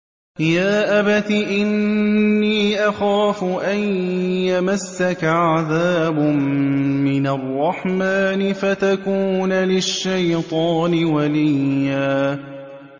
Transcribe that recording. يَا أَبَتِ إِنِّي أَخَافُ أَن يَمَسَّكَ عَذَابٌ مِّنَ الرَّحْمَٰنِ فَتَكُونَ لِلشَّيْطَانِ وَلِيًّا